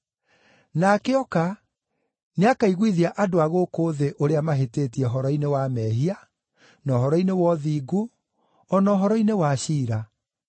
Nake oka, nĩakaiguithia andũ a gũkũ thĩ ũrĩa mahĩtĩtie ũhoro-inĩ wa mehia, na ũhoro-inĩ wa ũthingu, o na ũhoro-inĩ wa ciira: